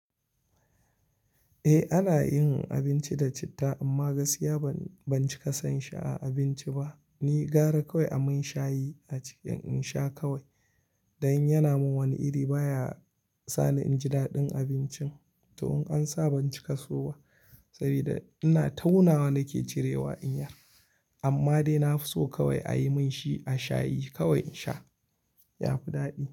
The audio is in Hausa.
Eh ana yin abinci da citta amma gaskiya ban cika son shi a abinci ba. Ni gara kawai a min shayi a ciki in sha kawai. Dan yana min wani iri baya sani inji daɗin abincin. To in ansa ban cika so ba saboda ina taunawa nake cirewa in yar. Amma dai na fi so kawai a yi min shi a shayi kawai in sha, ya fi daɗi.